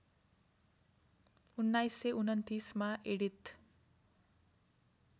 १९२१ मा एडिथ